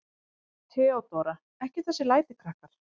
THEODÓRA: Ekki þessi læti, krakkar.